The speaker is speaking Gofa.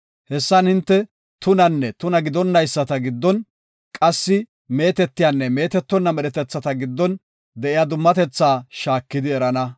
Hessan hinte tunanne tuna gidonnayisata giddon, qassi meetetiyanne meetetonna medhetethata giddon de7iya dummatethaa shaakidi erana.”